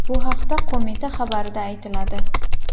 Bu haqda qo‘mita xabarida aytiladi .